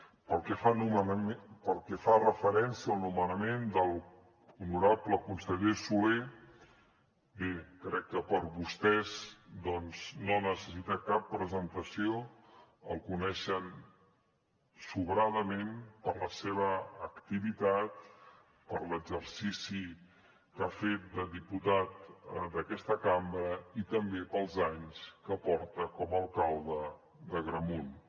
pel que fa referència al nomenament de l’honorable conseller solé bé crec que per a vostès doncs no necessita cap presentació el coneixen sobradament per la seva activitat per l’exercici que ha fet de diputat d’aquesta cambra i també pels anys que porta com a alcalde d’agramunt